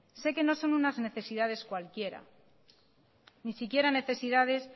sé que no son unas necesidades cualquiera ni siquiera necesidades